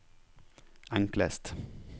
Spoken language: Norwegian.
enklest